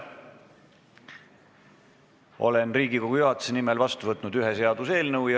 Olen Riigikogu juhatuse nimel vastu võtnud ühe seaduseelnõu.